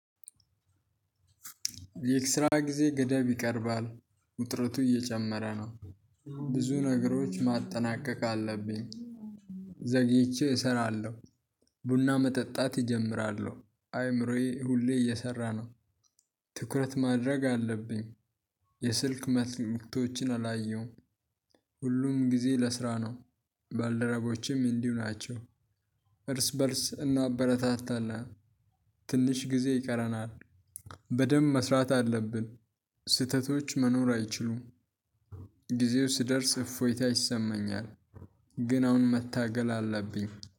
የክስራ ጊዜ ገደብ ይቀርባል ውጥረቱ እየጨመረ ነው። ብዙ ነገሮች ማጠናቀቅ አለብኝ። ዘግይቼ እሰራለሁ። ቡና መጠጣት እጀምራለሁ። አይምሮዬ ሁሌ እየሰራ ነው። ትኩረት ማድረግ አለብኝ። የስልክ መልቶችን አላየሁም። ሁሉም ጊዜ ለስራ ነው። ባልደረቦቸም እንዲሁ ናቸው። እርስ በእርስ እናበረታታለን፣ ትንሽ ጊዜ ይቀረናል፣ በደንብ መስራት አለብን፣ ስህተቶች መኖር አይችሉም፣ ጊዜው ሲደርስ እፎይታ ይሰማኛል፣ ግን አሁን መታገል አለብኝ።